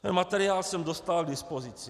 Ten materiál jsem dostal k dispozici.